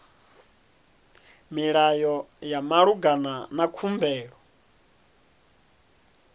milayo ya malugana na khumbelo